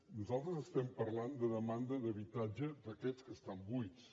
nosaltres parlem de demanda d’habi·tatge d’aquests que estan buits